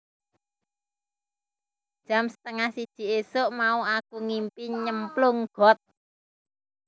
Jam setengah siji isuk mau aku ngimpi nyemplung got